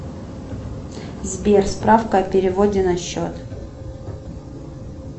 сбер справка о переводе на счет